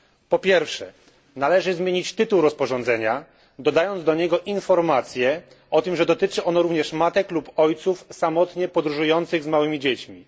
Po pierwsze, należy zmienić tytuł rozporządzenia, dodając do niego informację, że dotyczy ono również matek lub ojców samotnie podróżujących z małymi dziećmi.